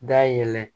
Da yɛlɛ